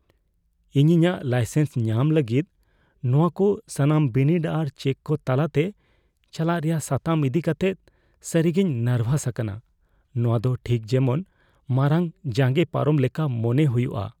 ᱤᱧ ᱤᱧᱟᱹᱜ ᱞᱟᱭᱥᱮᱱᱥ ᱧᱟᱢ ᱞᱟᱹᱜᱤᱫ ᱱᱚᱶᱟ ᱠᱚ ᱥᱟᱱᱟᱢ ᱵᱤᱱᱤᱰ ᱟᱨ ᱪᱮᱠ ᱠᱚ ᱛᱟᱞᱟᱛᱮ ᱪᱟᱞᱟᱜ ᱨᱮᱭᱟᱜ ᱥᱟᱛᱟᱢ ᱤᱫᱤ ᱠᱟᱛᱮ ᱥᱟᱹᱨᱤᱜᱮᱧ ᱱᱟᱨᱵᱷᱟᱥ ᱟᱠᱟᱱᱟ ᱾ ᱱᱚᱶᱟ ᱫᱚ ᱴᱷᱤᱠ ᱡᱮᱢᱚᱱ ᱢᱟᱨᱟᱝ ᱡᱟᱸᱜᱮ ᱯᱟᱨᱚᱢ ᱞᱮᱠᱟ ᱢᱚᱱᱮ ᱦᱩᱭᱩᱜᱼᱟ ᱾